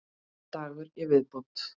Einn dagur í viðbót!